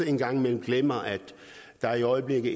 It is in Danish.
en gang imellem glemmer at der i øjeblikket